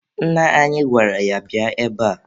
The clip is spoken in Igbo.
Nna anyị gwara ya, bịa ebe a!